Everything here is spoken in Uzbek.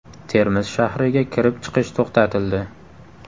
Termiz shahriga kirib-chiqish to‘xtatildi.